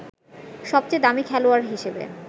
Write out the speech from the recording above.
সবচেয়ে দামি খেলোয়াড় হিসেবে